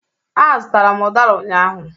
Azụtara m udara ụnyahụ